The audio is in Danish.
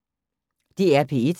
DR P1